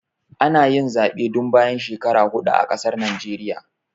Ana yin Zaɓe duk bayan shekaru hudu a ƙasar Naijeriya